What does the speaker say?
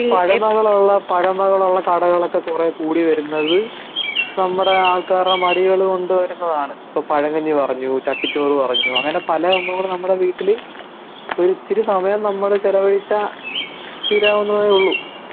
ഈ പഴമകൾ ഉള്ള പഴമകൾ ഉള്ള കടകൾ ഒക്കെ കുറെ കൂടി വരുന്നത് നമ്മുടെ ആൾക്കാരുടെ മടികള് കൊണ്ട് വരുന്നതാണ് ഇപ്പം പഴകഞ്ഞി പറഞ്ഞു ചട്ടി ചോർ പറഞ്ഞു അങ്ങനെ പല സംഭവങ്ങളും നമ്മുടെ വീട്ടില് ഒരു ഇച്ചിരി സമയം നമ്മൾ ചിലവഴിച്ചാൽ തിരവുന്നതെ ഉള്ളൂ